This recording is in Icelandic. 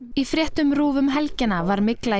í fréttum RÚV um helgina var mygla